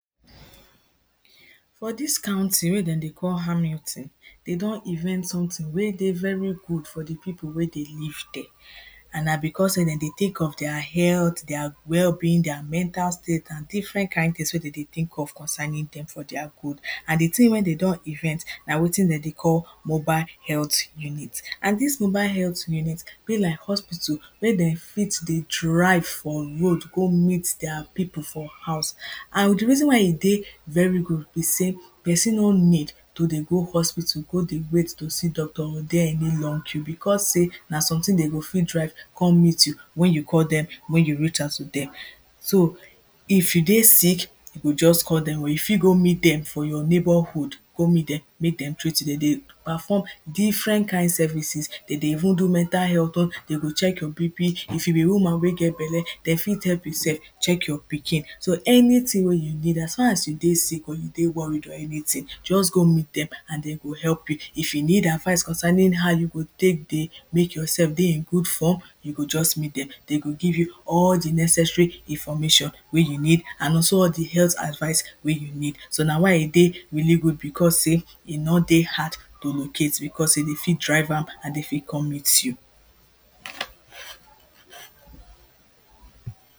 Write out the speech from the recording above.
For dis counting wey dem dey call amuntine dey don invest sometin wey dey very good for di pipu wey dey live dere and na becos sey dem dey tink of dia health, dia well being, dia mental state and different kind tins wey dem dey tink of concerning dem for dia good and di tins wey dem don invent na wetin dem dey call mobile health unit and dis mobile health unit be like hospital wey dem fit dey drive from road go meet dia pipu for house and di reason why e dey very good be sey pesin no need to dey go hospital go dey wait to see doctor or dey any long queue becos sey na sometin dem go fit drive to come meet you wen you call dem wen you reach out to dem. So if you dey sick just call dem or you fit go meet dem for your neighbourhood go meet dem, dem dey perform different kind services dem dey even do mental health oh, dey go check your BP, if you be woman wey get belle dem fit help you sef check your pikin so anytin wey you need as far as you dey sick or you dey worry or anything, just go meet dem and dey go help you, if you need advice concerning how you go take dey make yoursef dey in good form you go just meet dem, dem go give you all di necessary information you need and also all di health advice wey you need so na why e dey really good becos sey e no dey hard to locate becos dey dey fit drive am and dey fit come meet you.